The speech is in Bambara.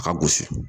A ka gosi